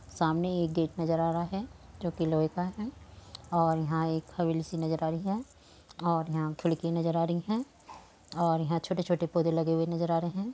सामने एक गेट नजर आ रहा है जो कि लोह का है और यहाँ एक हवेली सी नजर आ रही है और यहाँ खिड़की नजर आ रही हैं और यहाँ छोटे-छोटे पोधे नजर आ रहें हैं।